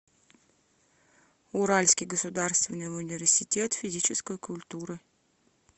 уральский государственный университет физической культуры